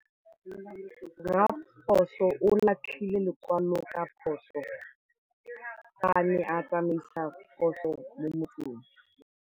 Raposo o latlhie lekwalô ka phosô fa a ne a tsamaisa poso mo motseng.